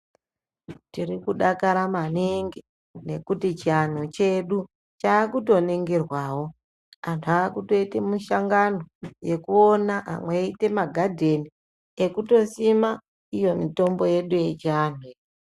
Tirikudakara maningi ngekuti chiantu chedu chakutoningirwawo. Antu akutoite mishongano yekuona, amwe eiite maghadheni ekutosima iyomitombo yedu yechiantu.